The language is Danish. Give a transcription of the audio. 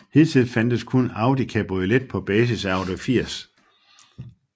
Hidtil fandtes kun Audi Cabriolet på basis af Audi 80